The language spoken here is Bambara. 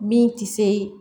Min tɛ se